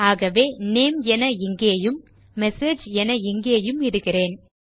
ஆகவே Name என இங்கேயும் Message என இங்கேயும் இடுகிறேன்